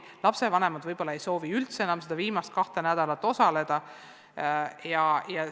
Ka lapsevanemad võib-olla ei soovi, et nende lapsed sel viimasel kahel nädalal õppetöös osalevad.